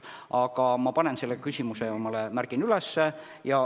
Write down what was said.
Aga ma märgin selle küsimuse endale üles.